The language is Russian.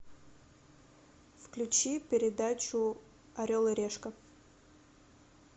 включи передачу орел и решка